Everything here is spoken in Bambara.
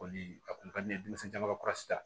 Ko ni a kun ka di ne ye denmisɛnw ka ta